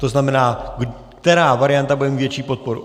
To znamená, která varianta bude mít větší podporu.